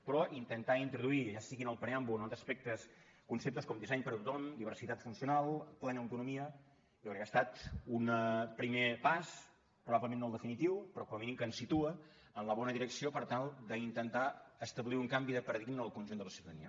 però intentar introduir ja sigui en el preàmbul entre altres aspectes conceptes com disseny per a tothom diversitat funcional plena autonomia jo crec que ha estat un primer pas probablement no el definitiu però com a mínim que ens situa en la bona direcció per tal d’intentar establir un canvi de paradigma en el conjunt de la ciutadania